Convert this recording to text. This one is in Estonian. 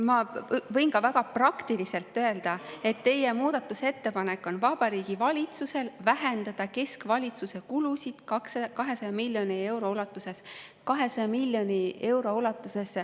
Ma võin ka väga praktiliselt öelda, et teie muudatusettepanek on, et Vabariigi Valitsus vähendaks keskvalitsuse kulusid 200 miljoni euro ulatuses.